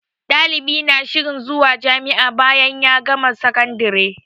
Ɗalibi na shirin zuwa jami'a bayan ya gama sakandire